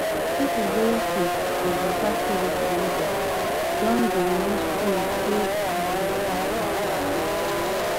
people wey um dey waka steady for lagos don dey use phone pay okada to avoid cash wahala